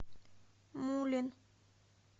мулин